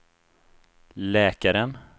läkaren